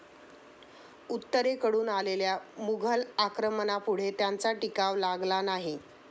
उत्तरेकडून आलेल्या मुघल आक्रमणापुढे त्यांचा टिकाव लागला नाही.